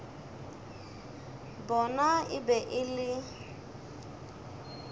bona e be e le